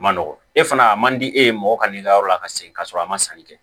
Ma nɔgɔn e fana a man di e ye mɔgɔ ka n'i ka yɔrɔ la ka segin ka sɔrɔ a ma sanni kɛ